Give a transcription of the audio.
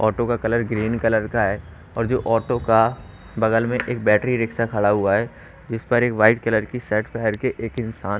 auto का colour green colour का है और जो ऑटो का बगल में एक बैटरी रिक्शा खड़ा हुआ है इस पर एक वाइट कलर की शर्ट पहन के एक इंसान --